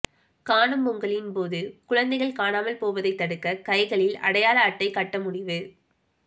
காணும் பொங்கலின்போது குழந்தைகள் காணாமல் போவதை தடுக்க கைகளில் அடையாள அட்டை கட்ட முடிவு